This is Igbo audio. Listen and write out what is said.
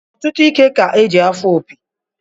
Ọtụtụ ike ka-eji afụ opi